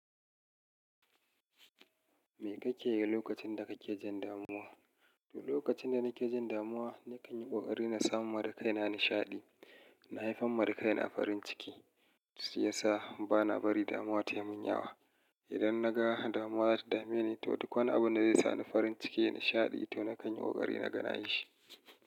Me kake yi lokacin da kake jin damuwa? To, lokacin da nake jin damuwa, na kan yi ƙoƙari na samu mara kai na nishaɗi. Na haifi ma da kaina a farin ciki, shi ya sa ba na bari damuwa ta yi mun yawa. Idan na ga damuwa ta dame ni, to duk wani abu da zai sa ni farin ciki, nishaɗi to na kan yi ƙoƙari na ganashi.